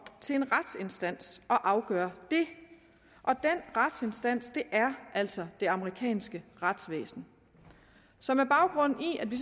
til en retsinstans at afgøre det og den retsinstans er altså det amerikanske retsvæsen så med baggrund i at vi